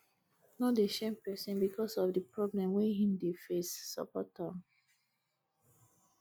no dey shame person because of di problem wey im dey face support am